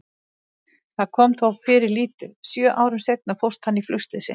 Það kom þó fyrir lítið, sjö árum seinna fórst hann í flugslysi.